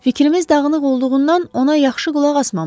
Fikrimiz dağınıq olduğundan ona yaxşı qulaq asmamışıq.